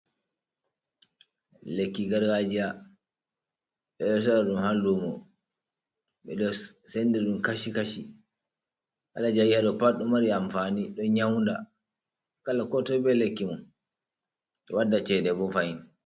Lekki gargajiya. Ɓe ɗo sora ɗum ha lumo. Ɓe ɗo senɗi ɗum kashi kashi. Kala je ayi ha ɗo pat ɗo ɗo mari amfani, ɗo yauɗa. kala ko toi ɓe lakki mum. Ɗo waɗɗa ceɗe ɓo fahin.